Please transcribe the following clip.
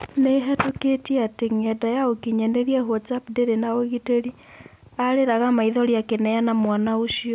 Nĩ-ĩhetũkĩtio atĩ ng'enda ya ũkinyanĩria WhatsApp ndĩrĩ na ũgitĩri. " Arĩragaa maithori akĩneana mwana ũcio."